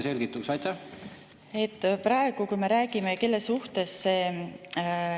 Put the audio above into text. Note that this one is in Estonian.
Jah, aitäh küsimuse eest!